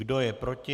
Kdo je proti?